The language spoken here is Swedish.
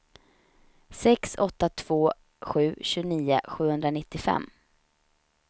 sex åtta två sju tjugonio sjuhundranittiofem